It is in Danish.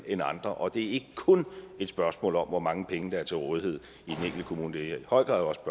end andre og det er ikke kun et spørgsmål om hvor mange penge der er til rådighed i kommune det er i høj grad også